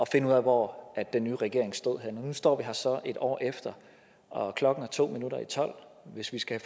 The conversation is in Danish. finde ud af hvor den nye regering stod henne nu står vi her så et år efter og klokken er to minutter i tolv hvis vi skal